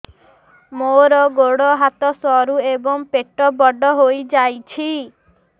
ମୋର ଗୋଡ ହାତ ସରୁ ଏବଂ ପେଟ ବଡ଼ ହୋଇଯାଇଛି